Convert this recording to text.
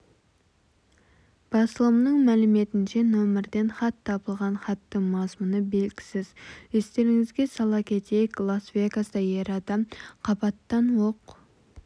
басылымның мәліметінше нөмірден хат табылған хаттың мазмұны белгісіз естеріңізге сала кетейік лас-вегаста ер адам қабаттан оқ